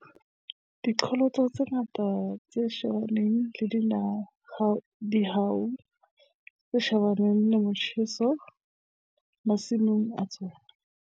Diqholotso ke tse ngata tse shebaneng le dihwai tse shebaneng le motjheso masimong a tsona.